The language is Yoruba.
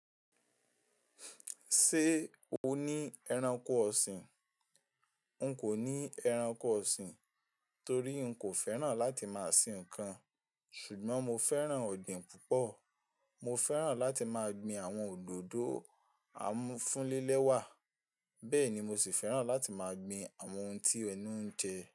Ṣé o ní ẹranko ọ̀sìn? N kò ní ẹranko ọ̀sìn torí n kò fẹ́ràn láti máa sìn ǹkan, ṣùgbọ́n mo fẹ́ràn ọ̀dìn púpọ̀. Mo fẹ́ràn láti máa gbin àwọn òdòdó amúfúnlélẹ́wà, bẹ́ẹ̀ ni mo sì fẹ́ràn láti máa gbin àwọn ohun tí ẹnu ń jẹ.